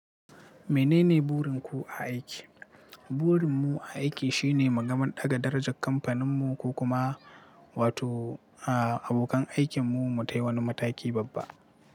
Menene burin ku a aiki? Burin mu a aiki shine mu gama ɗaga darajar kamfanin mu ko kuma wato, a abokan aikin mu mu tayi wani mataki babba.